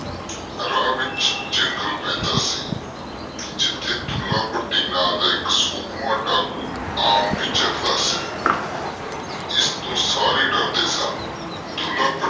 ਰਾਹ ਵਿਚ ਜੰਗਲ ਪੈਂਦਾ ਸੀ ਜਿਥੇ ਦੁੱਲਾ ਭੱਟੀ ਨਾਂ ਦਾ ਇਕ ਸੂਰਮਾ ਡਾਕੂ ਆਮ ਬਿਚਰਦਾ ਸੀ ਜਿਸਤੋ ਸਾਰੇ ਡਰਦੇ ਸਨ। ਦੁੱਲਾ ਭੱਟੀ